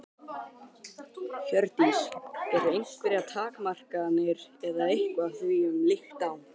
Hjördís: Eru einhverjar takmarkanir eða eitthvað því um líkt á?